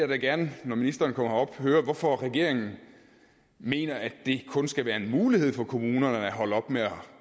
da gerne når ministeren kommer herop høre hvorfor regeringen mener at det kun skal være en mulighed for kommunerne at holde op med at